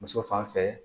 Muso fan fɛ